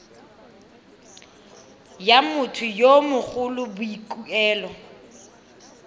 ya motho yo mogolo boikuelo